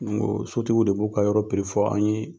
N ko sotigiw de b'o ka yɔrɔ fɔ an ye